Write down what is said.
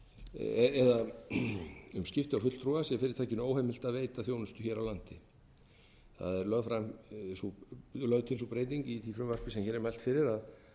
fyrirtækinu óheimilt að veita þjónustu hér á landi það er lögð til sú breyting í því frumvarpi sem hér er mælt fyrir að